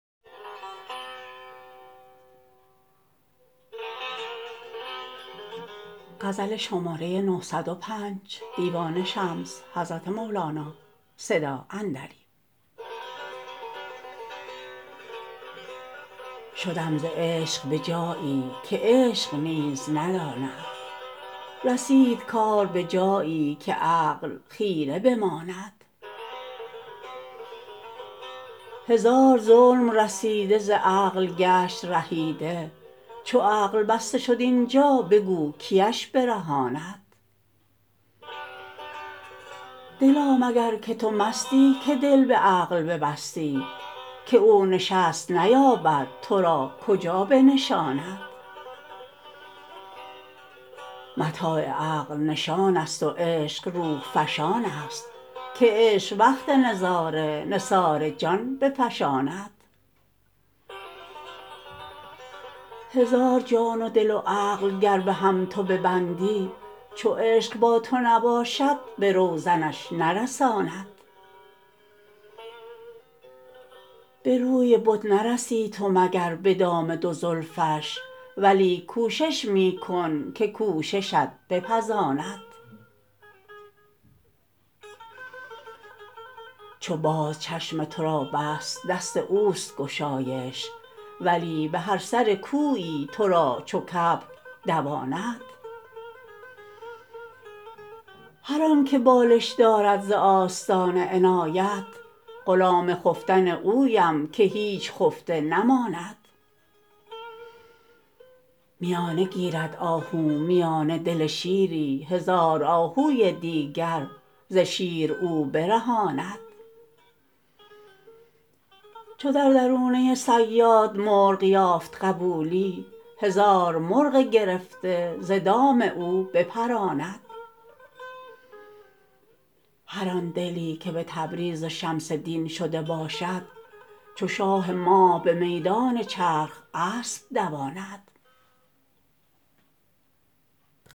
شدم ز عشق به جایی که عشق نیز نداند رسید کار به جایی که عقل خیره بماند هزار ظلم رسیده ز عقل گشت رهیده چو عقل بسته شد این جا بگو کیش برهاند دلا مگر که تو مستی که دل به عقل ببستی که او نشست نیابد تو را کجا بنشاند متاع عقل نشانست و عشق روح فشانست که عشق وقت نظاره نثار جان بفشاند هزار جان و دل و عقل گر به هم تو ببندی چو عشق با تو نباشد به روزنش نرساند به روی بت نرسی تو مگر به دام دو زلفش ولیک کوشش می کن که کوششت بپزاند چو باز چشم تو را بست دست اوست گشایش ولی به هر سر کویی تو را چو کبک دواند هر آنک بالش دارد ز آستان عنایت غلام خفتن اویم که هیچ خفته نماند میانه گیرد آهو میانه دل شیری هزار آهوی دیگر ز شیر او برهاند چو در درونه صیاد مرغ یافت قبولی هزار مرغ گرفته ز دام او بپراند هر آن دلی که به تبریز و شمس دین شده باشد چو شاه ماه به میدان چرخ اسب دواند